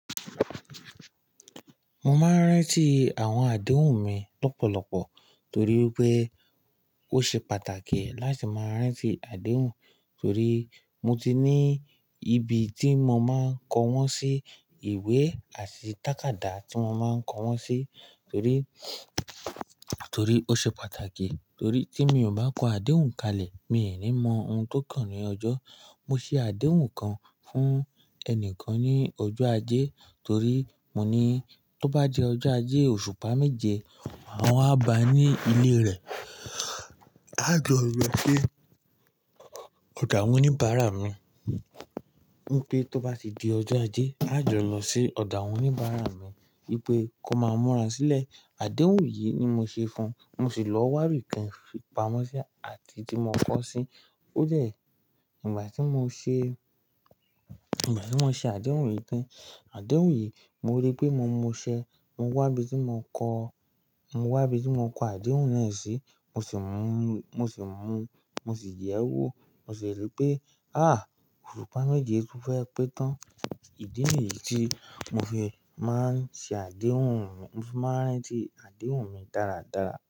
Mo máa ń rántí àwọn àdéhùn mi lọ́pọ̀lọpọ̀ torí pé ó ṣe pàtàkì láti máa rántí àdéhùn, torí mo ti ní ibi tí mo máa ń kọ wọ́n sí, ìwé àti tàkádá tí mo máa ń kọ wọ́n sí, torí, torí ó ṣe pàtàkì. Torí tí mi ò bá kọ àdéhùn kalẹ̀, mi ò ní mọ ohun tó kàn ní ọjọ́. Mo ṣe àdéhùn kan fún ẹni kan ní ọjọ́ ajé torí mo ní tó bá di ọjọ́ ajé oṣùpá mẹ́je, mă wá bà á ní ilé rẹ̀. Á jọ lọ sí ọ̀dọ̀ awọn oní Bàrà mí. Wípé tó bá ti di ọjọ́ ajé, á jọ lọ sí ọ̀dọ̀ àwọn oníbàrà mí wípé kó máa múra sílẹ̀. Àdéhùn yìí ni mo ṣe fún un. Mo sì lọ wá'bì kàn fi pamọ́ sí àti tí mo kọ́ sí. Ó jẹ́ ìgbà tí mo ṣe, ìgbà tí mo ṣe àdéhùn yìí tán. Àdéhùn yìí, mo rí pé mo muṣẹ. Mo wá ibi tí mo kọ́, mo wá ibi tí mo kọ àdéhùn náà sí. Mo sì mú, mo sì mú, mo sì yẹ̀ ẹ́ wò. Mo sì rí pé há! Oṣùpá mẹ́je tó fẹ́ pé tán. Ìdí ní yìí tí mo fi máa ń ṣe àdéhùn mi. Mo fi máa ń rántí àdéhùn mi dáradára.